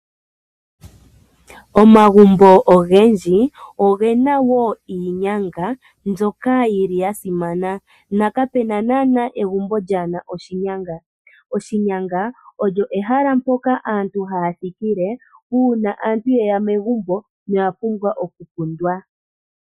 Omagumbo ogendji ogena wo iinyanga mbyoka yili yasimana na kapena nana egumbo lya nasha oshinyanga. Oshinyanga olyo ehala mpoka aantu haya thikile una aantu yeya megumbo na oya pumbwa okukundwa.